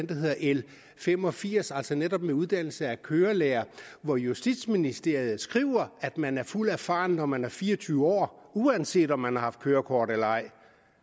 der hedder l fem og firs altså netop i uddannelse af kørelærere hvor justitsministeriet skriver at man er fuldt erfaren når man er fire og tyve år uanset om man har haft kørekort eller ej